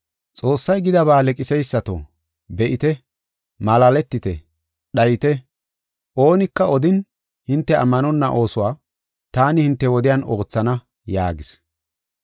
“ ‘Xoossay gidaba leqiseysato! Be7ite! Malaaletite! Dhayite! oonika odin, hinte ammanonna oosuwa taani hinte wodiyan oothana’ ” yaagis.